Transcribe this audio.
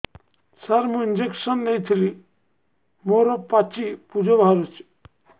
ସାର ମୁଁ ଇଂଜେକସନ ନେଇଥିଲି ମୋରୋ ପାଚି ପୂଜ ବାହାରୁଚି